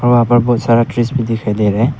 वहां पर बहुत सारा ट्रीज भी दिखाई दे रहा है।